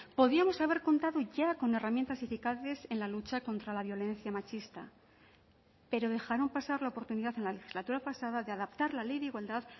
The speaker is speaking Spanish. podíamos haber contado ya con herramientas eficaces en la lucha contra la violencia machista pero dejaron pasar la oportunidad en la legislatura pasada de adaptar la ley de igualdad